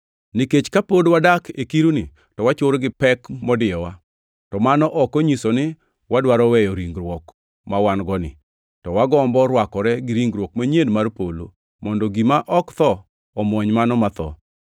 Nikech kapod wadak e kiruni, to wachur gi pek modiyowa, to mano ok onyiso ni wadwaro weyo ringruok mawan-goni, to wagombo rwakore gi ringruok manyien mar polo, mondo gima ok tho omwony mano matho.